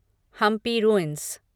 Hampi ruins